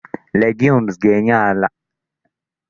Legumes ga-enye àla nitrogen.